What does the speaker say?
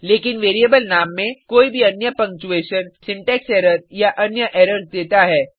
लेकिन वेरिएबल नाम में कोई भी अन्य पंगक्चूऐशन सिंटेक्स एरर या अन्य एरर्स देता है